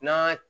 N'a